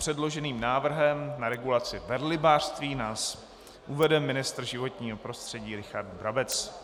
Předloženým návrhem na regulaci velrybářství nás uvede ministr životního prostředí Richard Brabec.